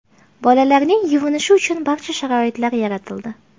Bolalarning yuvinishi uchun barcha sharoitlar yaratildi.